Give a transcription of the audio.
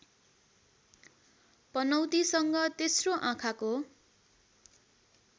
पनौतीसँग तेस्रो आँखाको